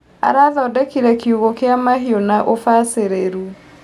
Arathondekire kiugũ kia mahiũ na ũbacĩrĩru.